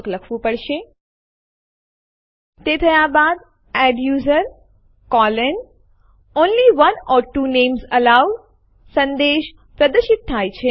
આ શું કરશે તે સ્ત્રોત ડીરેકટરી homeanirbanarc માં આવેલ ફાઈલ ડેમો1 ને અંતિમ ડિરેક્ટરી homeanirban માં કોપી કરશે